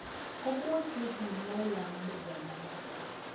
Ũmũthĩndinarĩa mũthenya wote